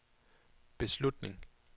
beslutning